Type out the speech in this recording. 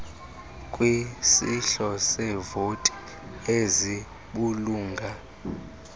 kwisihlo seevoti ezibulunga